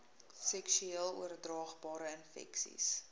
seksueel oordraagbare infeksies